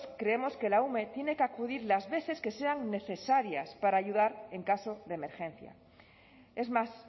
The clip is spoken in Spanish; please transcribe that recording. creemos que la ume tiene que acudir las veces que sean necesarias para ayudar en caso de emergencia es más